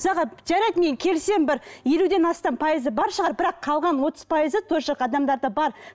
жарайды мен келісемін бір елуден астам пайызы бар шығар бірақ қалған отыз пайызы тоже адамдарда бар